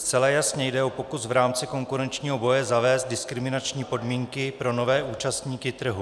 Zcela jasně jde o pokus v rámci konkurenčního boje zavést diskriminační podmínky pro nové účastníky trhu.